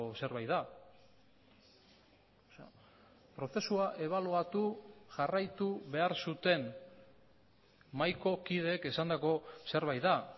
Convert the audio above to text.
zerbait da prozesua ebaluatu jarraitu behar zuten mahaiko kideek esandako zerbait da